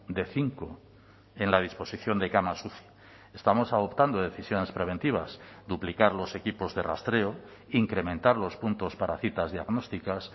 de cinco en la disposición de camas uci estamos adoptando decisiones preventivas duplicar los equipos de rastreo incrementar los puntos para citas diagnósticas